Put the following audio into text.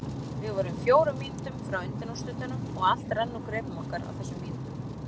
Við vorum fjórum mínútum frá undanúrslitunum og allt rann úr greipum okkar á þessum mínútum.